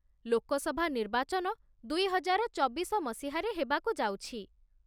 ଲୋକସଭା ନିର୍ବାଚନ ଦୁଇ ହଜାର ଚବିଶ ମସିହାରେ ହେବାକୁ ଯାଉଛି ।